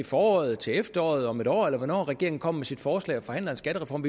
foråret til efteråret om et år eller hvornår regeringen kommer med sit forslag og forhandler en skattereform